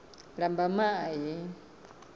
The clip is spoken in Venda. lambamai